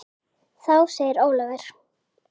Þá segir Ólafur